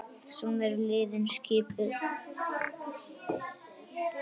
Svona eru liðin skipuð